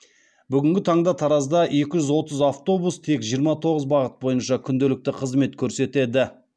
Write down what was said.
бүгінгі таңда таразда екі жүз отыз автобус тек жиырма тоғыз бағыт бойынша күнделікті қызмет көрсетеді